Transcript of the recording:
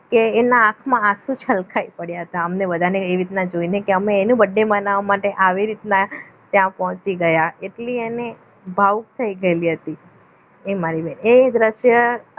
કે એના આંખમાં આંસુ છલકાઈ પડ્યા હતા અમને બધાને એવી રીતના જોઈને કે અમે એની birthday બનાવવા માટે આવી રીતના ત્યાં પહોંચી ગયા એટલે એને ભાવુક થઈ ગયેલી હતી એ મારી બેન એ દ્રશ્ય